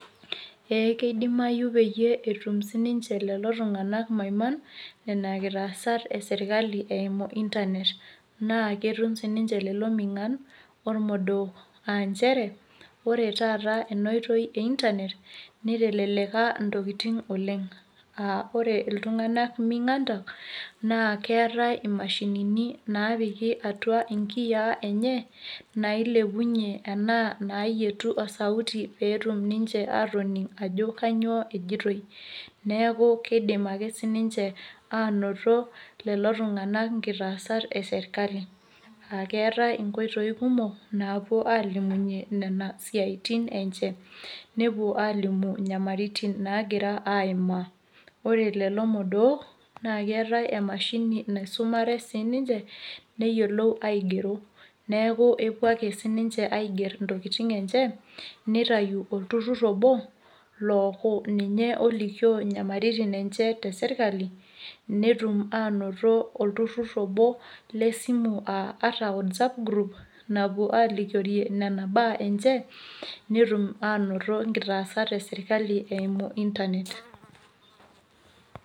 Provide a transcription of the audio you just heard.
Ee kidimayu peyie etum sininche lelo tung'anak maiman nena kitaasat e sirkali eimuu internet naa ketum sininche lelo ming'an ormodook aa nchere ore taata ena oitoi e internet niteleleka ntokitin oleng'aa ore illtung'anak ming'an keeta ninche imashinini naapiki atua nkiyiaa enye nailepunyie enaa naayietu osauti pee etum ninche aatoning' ajo akinyioo ejitoi, neeku kiidim ake sininche aanoto lelo tung'anak nkitaasat e sirkali aa keetai nkoitoi kumok naapuo ninche aalimunyie nena siaitin enye nepuo aalimu nyamalitin naagira aimaa ninche, ore lelo modook naa keeta emashinini naisumare sininche neyiolou aigero neeku epuo ake sininche aigerr ntokitin enye nitayu olturrur obo looku ninye olikioo inyamalitin enye te sirkali netum aanoto olturrur obo le simu aa ata whatsapp group napuo alikiorie mbaa enye, netum aanoto nkitaasat e sirkali eimu internet.